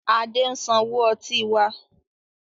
Adé ń sanwó ọtí wá.